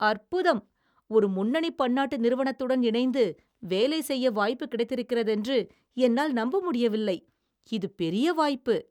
அற்புதம்! ஒரு முன்னணி பன்னாட்டு திறுவனத்துடன் இணைந்து வேலை செய்ய வாய்ப்புக் கிடைத்திருக்கிறதென்று என்னால் நம்ப முடியவில்லை! இது பெரிய வாய்ப்பு